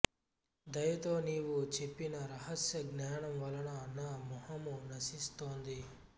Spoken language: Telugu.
దయతో నీవు చెప్పిన రహస్య జ్ఞానం వలన నా మోహం నశిస్తోంది